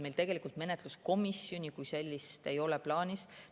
Meil tegelikult menetluskomisjoni kui sellist ei ole plaanis.